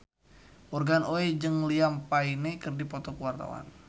Morgan Oey jeung Liam Payne keur dipoto ku wartawan